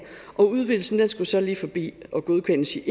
udvidelsen skulle så lige forbi eu og godkendes